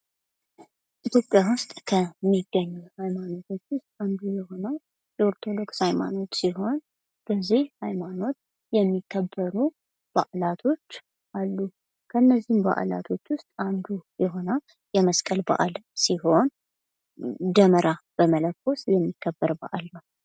ኢትዮጵያ ውስጥ ከሚገኙ ሃይማኖቶች ውስጥ አንዱ የሆነው የኦርቶዶክስ ሃይማኖት ሲሆን በዚህ ሃይማኖት የሚከበሩ በአላቶች አሉ። ከነዚህም በአላቶች ውስጥ አንዱ የሆነው የመስቀል በአል ሲሆን ደመራ በመለኮስ የሚከበር በአል ነው።